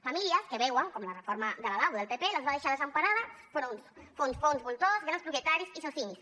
famílies que veuen com la reforma de la lau del pp les va deixar desemparades enfront de fons voltors grans propietaris i socimis